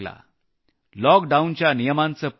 लॉकडाऊनच्या नियमांचं पालंन केलं